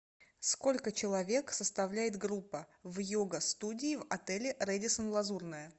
сколько человек составляет группа в йога студии в отеле рэдиссон лазурная